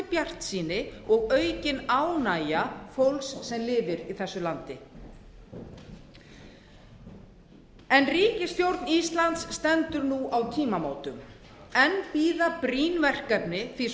bjartsýni og aukin ánægja fólks sem lifir í þessu landi en ríkisstjórn íslands stendur nú á tímamótum enn bíða brýn verkefni því að svo